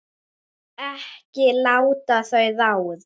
Ekki láta þau ráða.